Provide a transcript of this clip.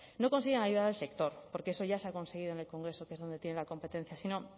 no consiguen ayudar al sector porque eso ya se ha conseguido en el congreso que es donde tienen la competencia sino